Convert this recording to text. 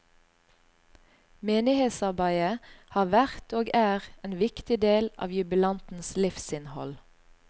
Menighetsarbeidet har vært og er en viktig del av jubilantens livsinnhold.